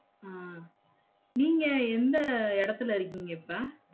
உம் நீங்க எந்த எடத்துல இருக்கீங்க இப்ப?